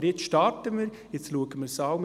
Aber jetzt starten wir damit, schauen es an.